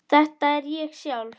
Þetta er ég sjálf.